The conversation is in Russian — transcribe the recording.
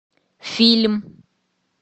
фильм